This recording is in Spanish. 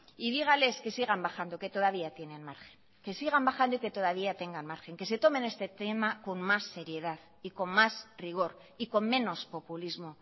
y dígales que sigan bajando que todavía tienen margen que sigan bajando y que todavía tengan margen que se tomen este tema con más seriedad y con más rigor y con menos populismo